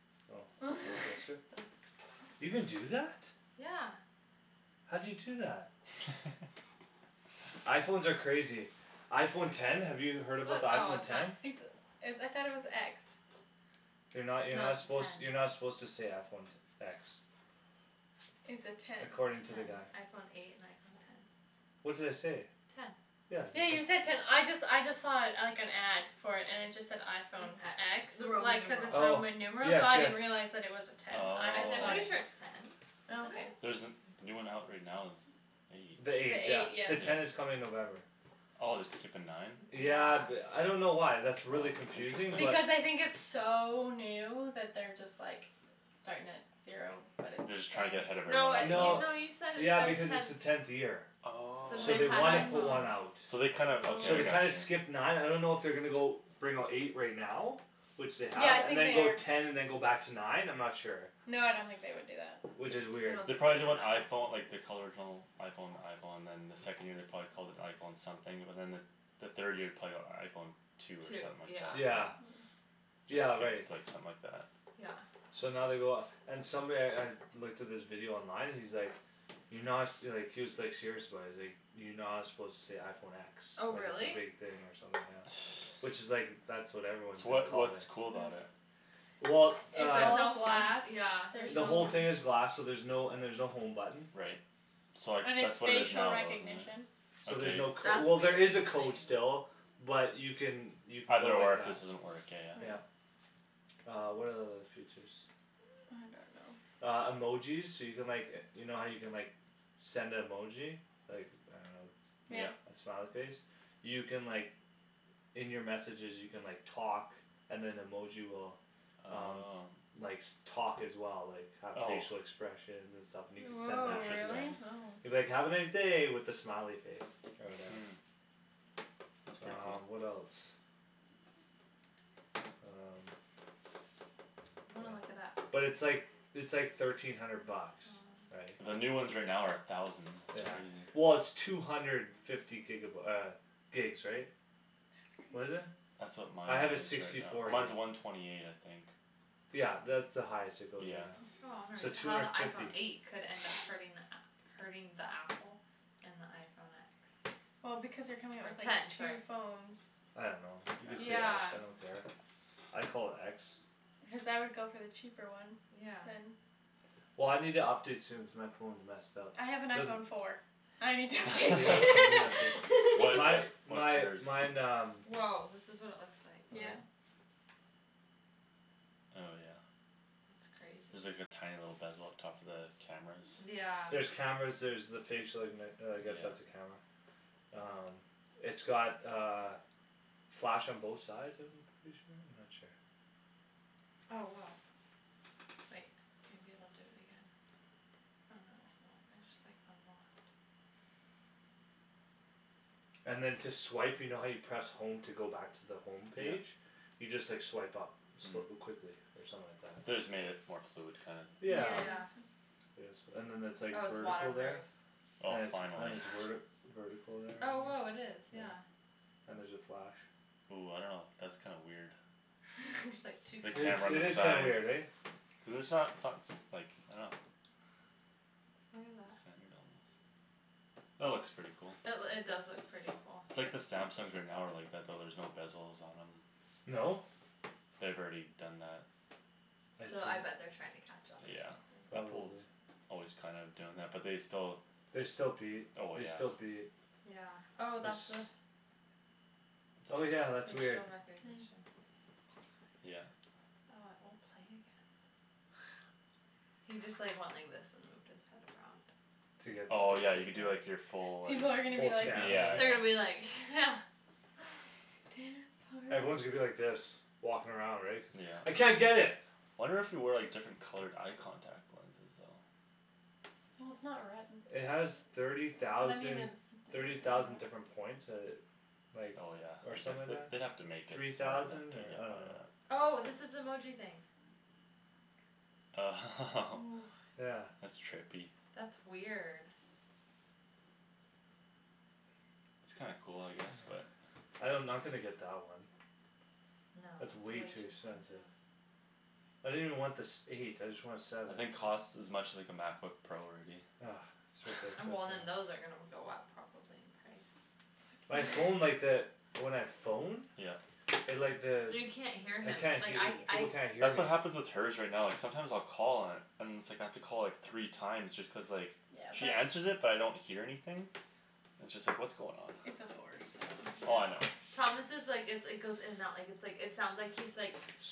oh you can do that? yeah how'd you do that? iPhones are crazy iPhone ten have you heard about the oh iPhone ten ten it's is I though it was x you're no no you're not its a suppose ten you're not suppose to say iPhone te- x its a ten according ten to the guy iPhone eight and iPhone ten what did I say ten yeah you ten said ten I just I just saw it like an ad for it and it just said iPhone X x the Roman like cuz numeral its oh Roman numeral yes so I yes didn't realize it was a ten I I just I'm thought pretty sure it it's oh ten oh okay isn't it there's the the new one out right now is eight the the the eight eight yeah eight the yeah yeah ten yeah is coming in November oh they're skippin nine yeah yeah th- f I don't know why that's really oh confusing but interesting because I think its so new that they're just like starting at zero but they're it's just ten trying to get ahead of no it- you everyone no else no you said yeah it's because its the their tenth tenth year since so oh they've they had wanna oh put one out iPhones so they kinda okay so I they kinda got oh you skip nine I don't know if they're gonna go bring out eight right now which they yeah have I and think then they go are ten and then go back to nine I'm not sure no I don't think they would do that which is I weird don't they think probably they'd did do when that iPhone like they called the original iPhone the iPhone and then the second year they probably called it iPhone something but then the the third year probably got iPhone two or two something like that yeah yeah yeah just right skipped like something like that yeah so now they go off and somebody I looked at this video online and he's like you're not su- like he was like serious about it he's like you're not suppose to say iPhone x oh like its a really big thing or something yeah which is like that's what everyone is so gonna what's call it what's cool about it? well it's uh all glass yeah there's the whole no thing is glass so there's no and there's no home button right so like and its that's what it is facial now isn't recognition it so there's okay no cod- that's well there weird is a to me code still but you can you can go either or like if that this doesn't work yeah yeah yeah uh what are the other features I don't know I don't know uh emojis so you can like e- you know how you can like send a emoji like I don't yeah yeah know a smiley face you can like In your messages you can like talk and then emoji will um oh likes talk as well like have oh facial expressions and stuff and you can send woah that to them really interesting oh you can be like "have a nice day" with a smiley face or whatever hm that's pretty um cool what else um I'm gonna look it up yeah but its like its like thirteen hundred bucks right the new ones right now are a thousand yeah that's crazy well its two hundred fifty giga by- uh gigs right that's that's what is crazy crazy it that's what mine I have a is right sixty now four gig mine's a one twenty eight I think yeah that's the highest it goes right yeah now so two how the hundred iPhone fifty eight could end up hurting the app hurting the apple and the iPhone x well because they're coming out or with like ten two sorry phones I don't know you can say x yeah I don't care I call it x cuz I would go for the cheaper one yeah then well I need to update soon cuz my phone's messed up I have an there's iPhone four I need to update well soon my what what's my yours mine um woah this is what it looks like all yeah right oh yeah that's crazy there's like a tiny little bezel up top for the cameras yeah there's cameras there's the facial ignit- uh I guess that's yeah a camera um it's got uh flash on both sides of them I'm pretty sure I'm not sure oh woah wait maybe it'll do it again oh no it won't I just like unlocked and then to swipe you know how you press home to go back to the home yeah page you just like swipe up hm quickly or something like that they just made it more fluid kinda yeah yeah yeah yes and then that's like oh it's water vertical proof there oh and it's and finally it's werti vertical there oh and woah it is yeah yeah and there's a flash ooh I don't know that's kinda weird there's like two the it is camera on it the is cameras kinda side weird eh cuz its not so- s like I don't know look at that centered almost that looks pretty cool that loo- it does look pretty cool its like the Samsungs are now are like that though there's no bezels on them no? they've already done that I so I see bet they're trying to catch up or yeah something Apple's probably always kinda doing that but they still they still beat oh they yeah still beat yeah oh it's that's the oh yeah that's weird facial recognition yeah oh it won't play again he just like went like this and moved his head around to get oh yeah the you do like your full like people are gonna be full like scan or yeah they're yeah gonna whatever be like yeah dance party everyone's gonna be like this walking around right cuz I yeah can't get it wonder if you wear like different colored eye contact lenses though it has thirty thousand thirty thousand different points that it like oh yeah or I guess something like they that they'd have to make it three smarter thousand to or get I don't that know oh this is the emoji thing oh yeah that's trippy that's weird it's kinda cool I guess but I don- I'm not gonna get that one no it's it's way way too too expensive expensive I didn't even want the sev- eight I just want a seven I think costs as much as like a MacBook Pro already ah it's and ridiculous well man then those are gonna go up probably in price my phone like that when I phone yeah it like the you can't hear I him can't like hea- I people I can't hear that's me what happens with her's right now like sometimes I'll call and and it's like I have to call like three time just cuz like she answers it but I don't hear anything it's just like what's going on it's a four so oh I know yeah Thomas' like it its goes in and out like its like it sounds like he's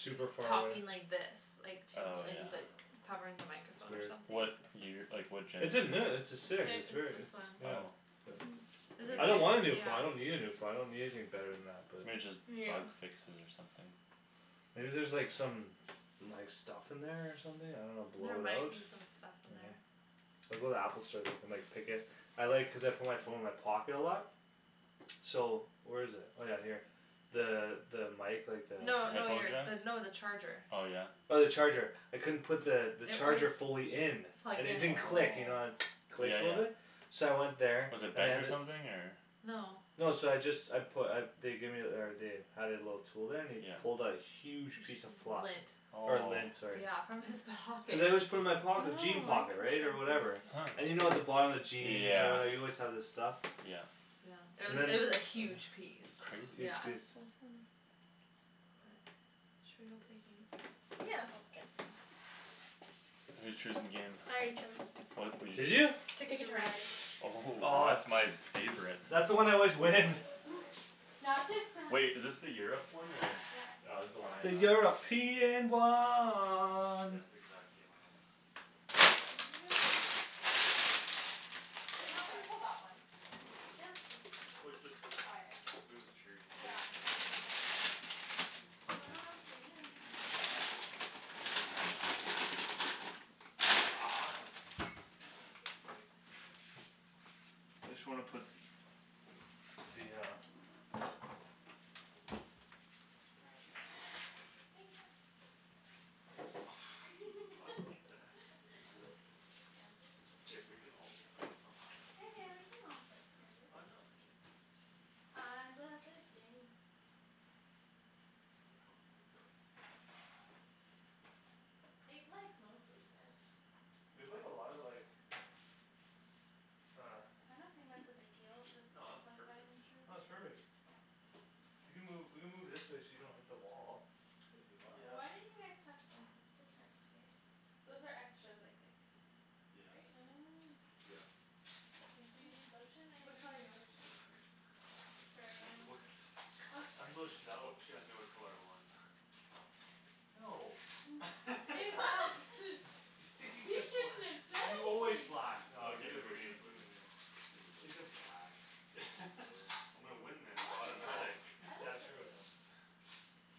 super far away talking like this like to me oh like yeah he's like covering the it's microphone or weird something what year like what genera- its a ne- its its a h- six it's its very this its one yeah oh but hm I weir- don't wanna a new phone I don't yeah need a phone I don't need anything bette than that but maybe just yeah bug fixes or something maybe there's like some like some stuff in there or something I don't know blow there it out might be some stuff in I know there I'll go to the Apple store they can like pick it I like cuz I put my phone in my pocket a lot so where's it oh yeah here the the mic like the no no headphone you're jack no the charger oh yeah oh the charger I couldn't put the it charger wouldn't fully in plug and it in didn't click you know the it oh yeah clicks a little yeah bit so I went there was it and they bent had or th- something or no no so I just I put uh they gave ther- or they had it a little tool there and he yeah pulled a huge piece p- of fluff lint or lint oh sorry yeah from his pocket cuz I always put it in my oh pocket jean pocket right or interesting whatever huh and you know at the bottom of jeans or yeah whatever you always have this stuff yeah yeah it and was then it was a huge piece crazy yeah that's so funny but should we go play games now yeah that sounds good who's choosing game? I already chose what what'd you did you choose Ticket Ticket to to Ride Ride oh oh that's that's my my favorite that's the one I always win not this time wait is this the Europe one or yep ah this's the one I have yeah it's exact game I have do you think it'll fit on here? oh yeah if we'll not we try can it pull that one yeah it's true we cu- just we'll try it move this chair here yeah or we something can and then move that chair and then they'll be worse days than pumpkin ah I just wanna put the hi uh honey oh I don't have much space here I love you think fast you tossing me that it also makes my hands are so if we dry can all yeah yeah we can all fit here ah babe no it's okay I love this game it like mostly fits we played a lot of like uh I don't think that's a big deal if its no all it's perfect no its perfect you can move you can move this way so you don't hit the wall if you want why yeah don't you guys tucked in different here those are extras I think yeah right oh yeah makes do you need sense lotion which anybody color do you need want? lotion? uch sorry I'm wha- just I'm lotioned wh- out what she asked me what color I want no you shouldn't have said I'm always anything black naw I you got gimme the the blue green gimme the blue take the black I'll take blue I'm gonna win this I it's like the blue automatic oh I yeah like the true blue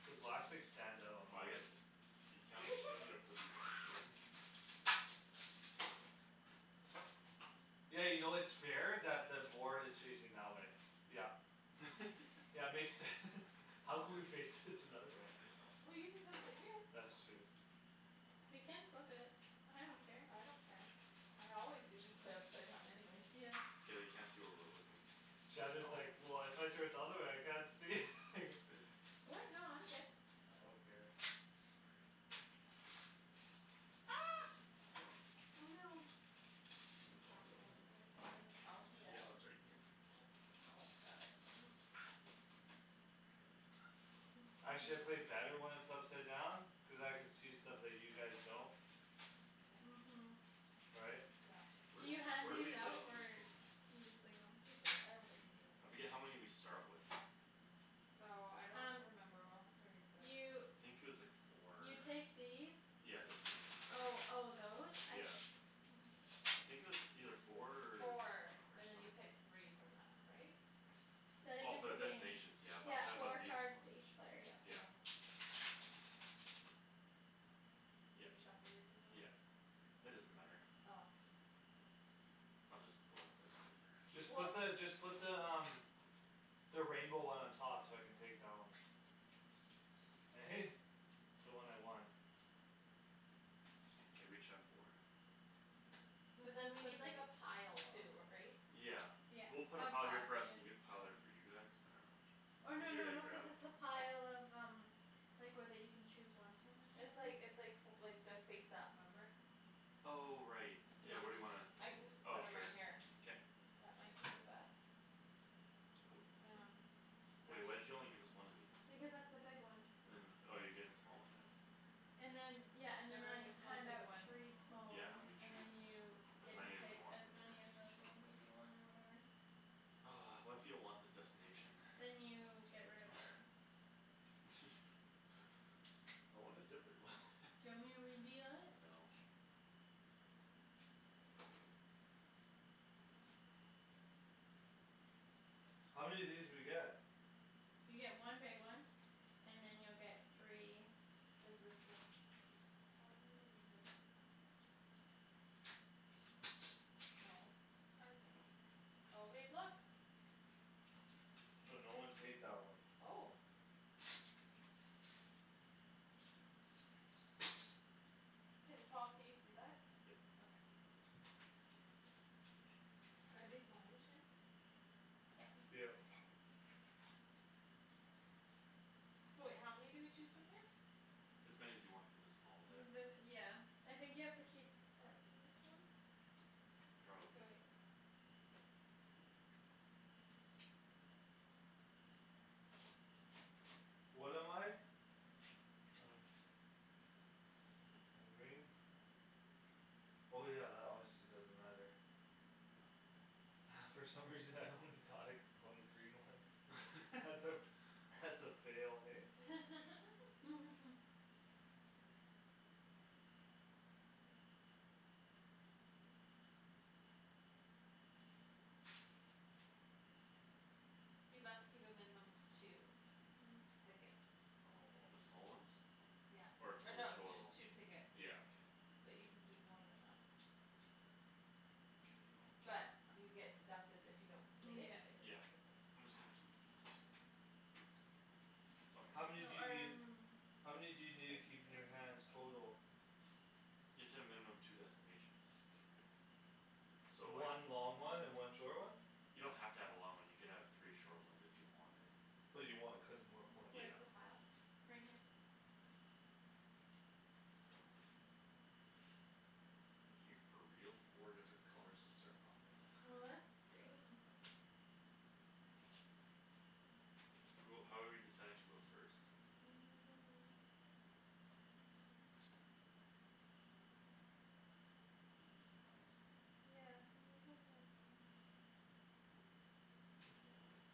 the blacks like stand out on ah the I board guess you can- you don't need to put these on there don't worry yeah you know its fair that the board is facing that way yup yeah makes sense How could we fix it another way well you can come sit here that's true we can flip it I don't care I don't care I always usually play upside down anyways yeah it's okay they can't see where we're looking Shandryn is like well if I turn it the other way I can't see what no I'm good I don't care ah oh no oh I I don't dropped know where it one went did it go under the couch yeah it's yeah right here Paul's got it right Actually I play better when it's upside down cuz I could see stuff that you guys don't uh- okay hm right yeah where can you d- hand where do these we lay out these or again you just leave them just leave I don't think we need them I right forget how now many we start with oh I don't um remember we'll have to read you I the think it was like four or you take these yeah destination oh cards oh those I yeah se- I think it was either four four or and then some- you pick three from that right? starting oh of for the the game destination yeah but I'm yeah talking four about these cards to ones each player yep yeah oh did yep you shuffle these ones yep already? it doesn't matter oh oops I'll just go like this whatever just put weh the just put the um the rainbow one on top so I can take that one eh the one I want okay we each have four but then this we need like is a the pile too big ri- right one yeah we'll put a oh pile five here for us and you have yeah a pile there for you guys I don't know or no easier no to no cuz grab it's the pile of um like where that you can chose one from or it's whatever like it's like fo like their face up remember oh right do you yeah where do underst- you wanna I can just oh put them right sure here k that might be the best wh- um are wait why'd these you only give us one of these because that's the big one and oh you're getting the small ones then and then yeah and then I everyone gets one hand big out one three small yeah and than ones we and then choose you as get to many as we pick want as from there many of those ones as you want or whatever what if you don't want this destination then you get rid of it I want a different one do you want me to redeal it? no how many of these do we get? you get one big one and then you'll get three is this the how many do we do no the cards are going here oh babe look so no one take that one oh can Paul can you see that? yep okay are these mine Shans yep yep okay so wait how many do we choose from here? as many as you want from the small deck the th- yeah I think you have to keep at least one k probably wait what am I? I don't I'm green oh yeah that obviously doesn't matter from some reason I only thought I could go on the green ones that's a that's a fail hey you must keep a minimum of two oh tickets oh of the small ones yeah or or two no just total two tickets yeah okay but you can keep more than that k I'll keep but you get deducted if you don't complete it you yeah get yeah deducted those I'm points just gonna keep these two oh how here oh many do you need um how many do you need to keep in your hands total? you have to have a minimum two destinations so like one long one and one short one you don't have to have a long one you can have three short ones if you wanted but you want it cuz its more points where's yeah the pile? right here are you for real four different colors to start off with well that's great who how are we deciding who goes first I'm losing my are you losing your mind yeah cuz these ones weren't mine oh well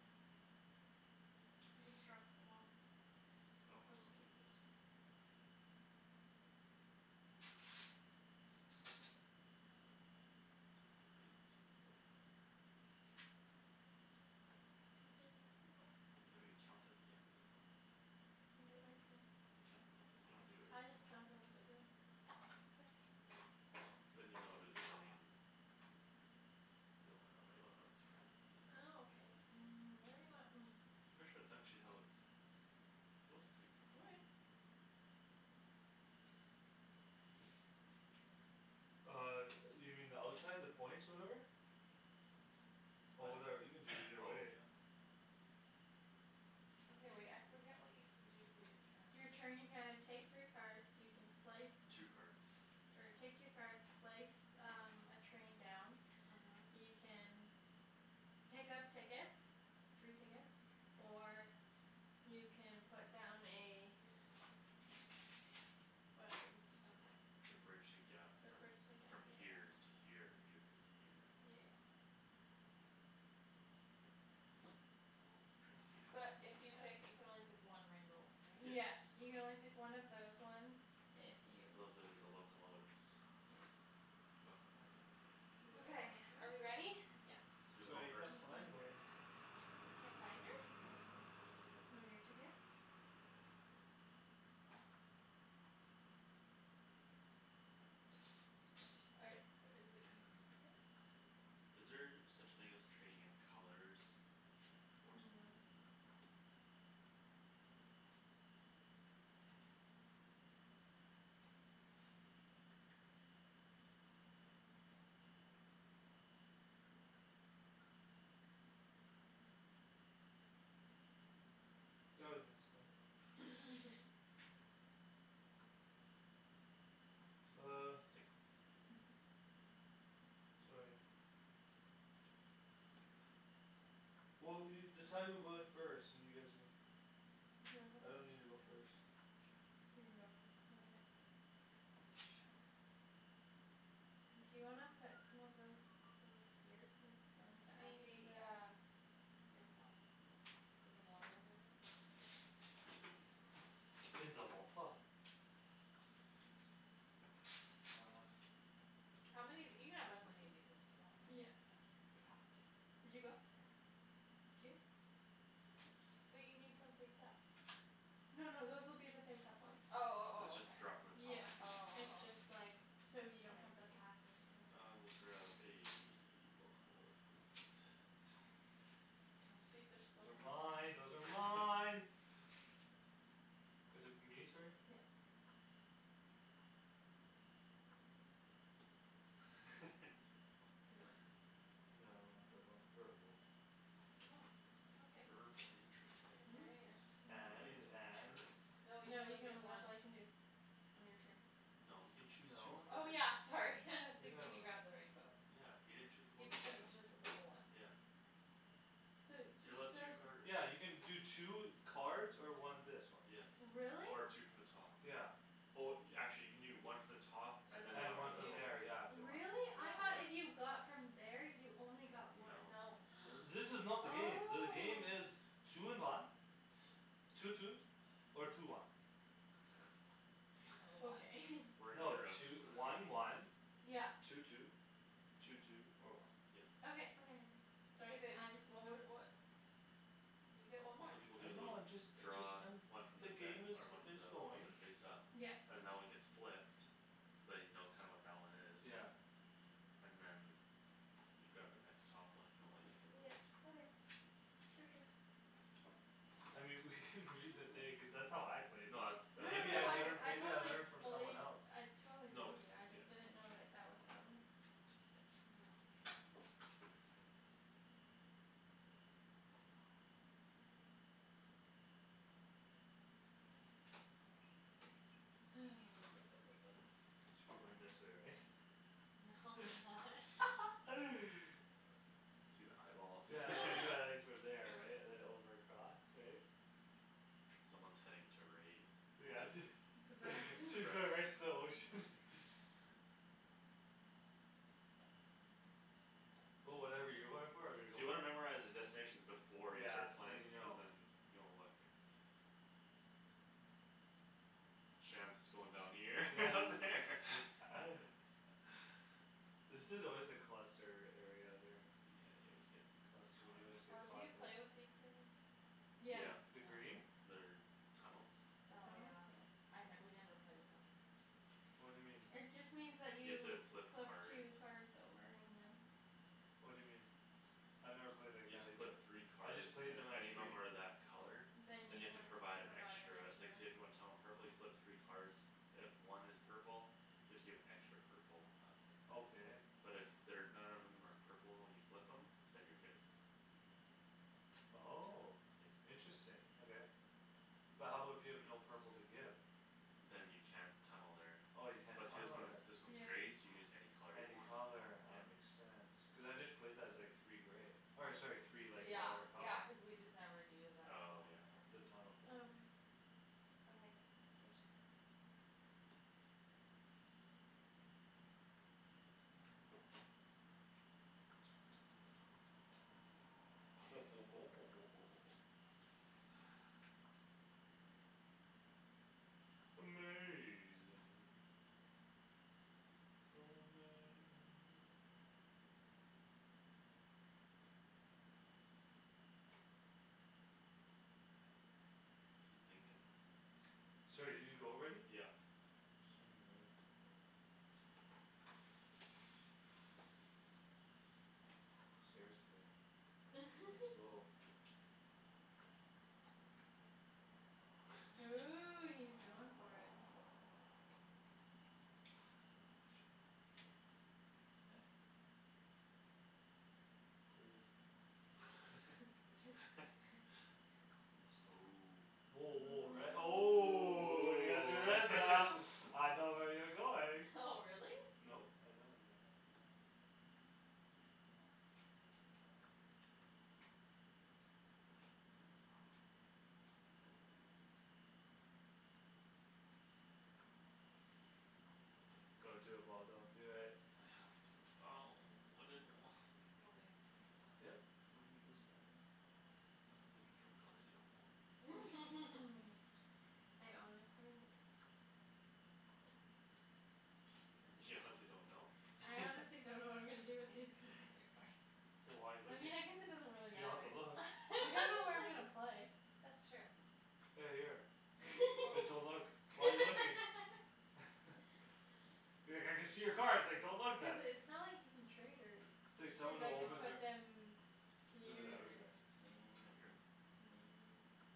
I just dropped them all I don't I'll just oh keep these two ah dang I don't think it we need this on the board either this no these are the people yeah we count at the end though you're you count the points at you don't do it I just count them as I go okay cuz than you know who's winning and you don't wanna know you wanna know the surprise at the end ah ok um whatever you want I'm pretty sure that's actually how it suppose to be okay uh yo- you mean the outside the points whatever oh what whatever you can do either oh way yeah okay wait I forget what you can do for your you're turn turn you can either take three cards you can place two cards or take two cards place um a train down uh-huh you can pick up tickets three tickets or you can put down a whatever these things are okay called to bridge the gap the from bridge the gap from yeah yeah here to here or here to here yeah yeah yeah a little train station but if you pick you can only pick one rainbow one right? yes yeah you can only pick one of those ones if you those are the locomotives yes locomotive okay are we ready locomotive yes who's going who's I first can't going find first? one you can't find yours? are i- is it behind it? is there such thing as trading in colors? for something no no okay that was my stomach oh tickles sorry well you decide who goes first and you guys can do you I don't need to wanna go go I first don't first care you can go first okay sure do you wanna put some of those over here so we don't have to maybe ask you yeah to here Paul like in the water over there uh how many of you can have as many of these as you want yeah right you have to did you go yeah two wait you need some face up no no those will be the face up ones oh oh you oh okay just draw from the top yeah if you wan- oh it's oh just oh like so you I don't have to see pass them to us I will grab a locomotive please those are mine those are mine is it me sorry? yeah you want no I want I want purple purple interesting interesting and and no no interesting you can you only can get only that's one all you can do on your turn no he can choose two no oh cards yeah sorry what you see talking can you about grab the rainbow yeah he didn't chose a He cho- he locomotive chose the purple one yeah so he's you're still allowed two cards yeah you can do two cards or one this one yes really? or two from the top yeah oh actually you can do one from the top and and than one and one one from from from those here there yeah if you want really? I though if yeah yeah you got from there you only got no one no uh this is not the game the oh game is two in one two two or two one or one okay we're in no Europe two- one one yeah two two two two or one yes okay okay okay hey sorry babe I just didn't what know wou- what you get one what more some people do I is they'll know I'm just a just draw I'm one from the the deck game is or one from is the one going the face up yep and that one gets flipped so you know kinda what that one is yeah and then you grab the next top one if you don't like any of yeah those okay sure sure I mean we could read the thing cuz that's how I played it no that's no that i- maybe no I no that I is learn I maybe how I totally believe I learned from someone else totally no believe cuz you I yeah just didn't know that that was how it works um hang on ha should be going this way right? no why see the eyeballs yeah there you go from there right and then over across right someone's heading to right yeah to she she's going right to the ocean but whatever you're going for I'm gonna so go you wanna memorize for the destinations before you yeah start so then playing you cuz know then you don't look Shands going down here yeah over there this is always a cluster area here yeah you always get cluster caught you always up get oh do caught you there play with these things? the yeah yeah the oh green okay they're tunnels the oh yeah tunnels yeah I we never play with them cuz it's too time what'd you mean consuming it just means that you have you to flip flip cards two card over and then what'd you mean I never played like you have that to either flip three I cards just played and them if as any of green them are that color then you than you have have to to provide provide an extra like an say extra if you want Tom a purple you flip three cards if one is purple you have to give an extra purple up okay but if they're none of them are purple and you flip them than you're good oh yeah interesting okay but how about if you have no purple to give than you can't tunnel there oh you can't but see this tunnel one's there this one's yeah gray so you can use any color you any want color yeah ah makes sense cuz I just played that as like three gray or sorry three like yeah whatever color yeah cuz we just never do the oh whole yeah card the thing tunnel thing oh okay okay go Shands um lets go on top ho ho ho ho ho ho ho amazing so amazing you thinking sorry did you go already yeah sorry man seriously I'm slow ooh he's going for it I don't know if I should or not clear your throat oh woah woah red oh oh ooh I know where you're going oh really no I don't actually don't do it Paul don't do it I have to oh I didn't wa- go babe yup I'm deciding what happens if you draw colors you don't want I honestly don't know you honestly don't know I honestly don't know what I'm gonna do I can with these see all cards your card wh- why you looking you don't have to look you don't know where I'm gonna play that's true hey here fo- just don't look why you looking be like I can see your cards like don't look cuz then it's not like you can trade her it's like cuz someone who I can opens put their no them who's here that or who's that there I drew or there